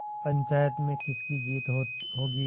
पंचायत में किसकी जीत होगी